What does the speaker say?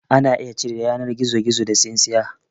Ana iya cire yanar gizogizo da tsintsiya